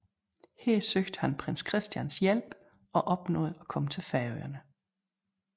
Her søgte han prins Christians hjælp og opnåede at komme til Færøerne